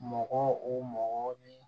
Mɔgɔ o mɔgɔ ni